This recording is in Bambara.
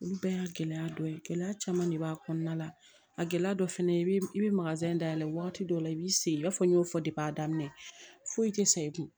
Olu bɛɛ y'a gɛlɛya dɔ ye gɛlɛya caman de b'a kɔnɔna la a gɛlɛya dɔ fɛnɛ i bɛ i bɛ dayɛlɛ wagati dɔ la i b'i se i b'a fɔ n y'o fɔ a daminɛ foyi tɛ sa i kun